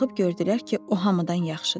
Baxıb gördülər ki, o hamıdan yaxşıdır.